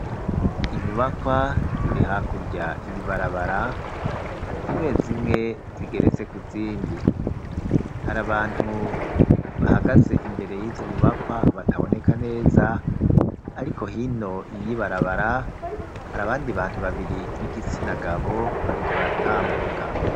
Inyubakwa ziri hakurya y'ibarabara zimwe zimwe zigeretse ku zindi. Hari abantu bahagaze imbere y'izo nyubakwa bataboneka neza ariko hino y'ibarabara hari abandi bantu babiri b'igitsina gabo bariko baratambuka.